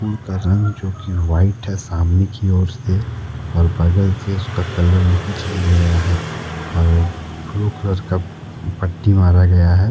School का रंग जो कि व्हाइट है सामने की ओर से और पहले से उसका कलर नहीं किया गया है और ब्लू कलर का पट्टी मारा गया है।